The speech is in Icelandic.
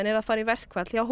eru að fara í verkfall hjá